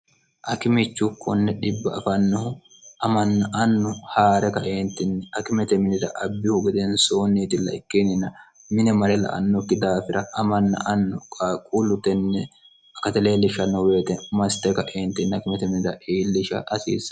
akimichu kunni dhibba afannohu amanna annu haa're kaeentinni akimete minira abbihu godeen soonniitilla ikkinnina mine mare la annokki daafira amanna annu qaaqquullu tenne kate leellishshannohu beete maste kaeentin kimemr hiillisha asiissa